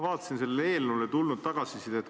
Vaatasin selle eelnõu kohta tulnud tagasisidet.